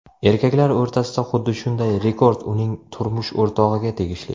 Erkaklar o‘rtasida xuddi shunday rekord uning turmush o‘rtog‘iga tegishli.